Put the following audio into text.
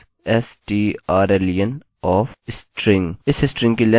इस स्ट्रिंग की लेन्थ के लिए मैं यहाँ एक नया वेरिएबल बना रहा हूँ